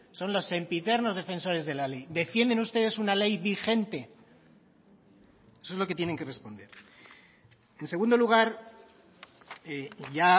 son los sempiternos defensores de la ley defienden ustedes una ley vigente eso es lo que tienen que responder en segundo lugar ya